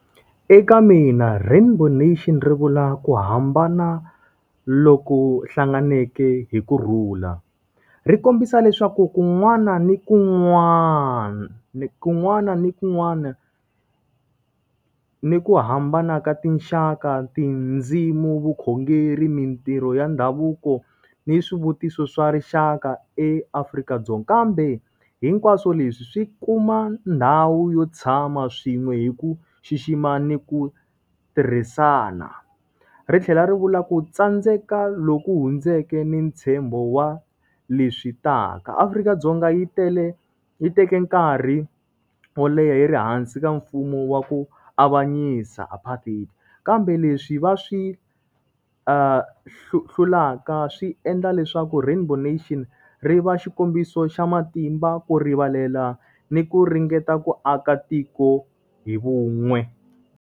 Eka mina rainbow nation ri vula ku hambana loko hlanganeke hi kurhula. Ri kombisa leswaku kun'wana na kun'wana na kun'wana na kun'wana ni ku hambana ka tinxaka, tindzimi, vukhongeri, mintirho ya ndhavuko, ni yi swivutiso swa rixaka eAfrika-Dzonga. Kambe hinkwaswo leswi swi kuma ndhawu yo tshama swin'we hi ku xixima ni ku tirhisana. Ri tlhela ri vula ku tsandzeka loku hundzeke ni ntshembo wa leswi taka. Afrika-Dzonga yi tele yi teke nkarhi wo leha yi ri hansi ka mfumo wa ku avanyisa apartheid, kambe leswi va swi hlulaka swi endla leswaku rainbow nation, ri va xikombiso xa matimba ku rivalela ni ku ringeta ku aka tiko hi vun'we.